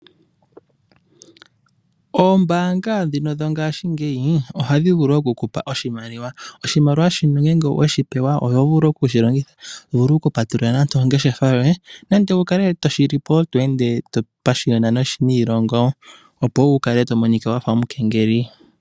Oombaanga ndhino dho ngaashingeyi ohadhi vulu okukupa oshimaliwa. Oshimaliwa shino ngele owe shi pewa oho vulu oku shi longitha. Oho vulu okupatulula oongeshefa yoye nenge wu kale to shi li po to ende to pashiyona niilongo opo wu kale to monika wa fa omukengeli.